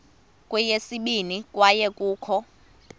kweyesibini kwaye kukho